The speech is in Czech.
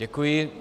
Děkuji.